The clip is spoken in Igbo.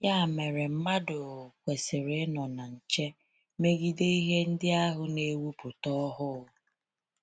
Ya mere, mmadụ kwesịrị inọ na nche megide ihe ndị ahụ n"ewuputa ọhụụ.